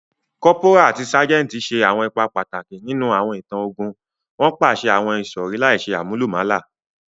Cọ́póra ati ságẹntì ṣe awọn ipa pataki ninu awọn itan ogun, won paṣẹ àwon ìsọ̀rí láìse àmúlùmálà